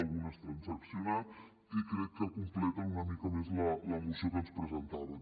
algunes transaccionat i crec que completen una mica més la moció que ens presentaven